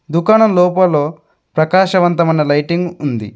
దుకాణం లోపల ప్రకాశవంతమైన లైటింగ్ ఉంది.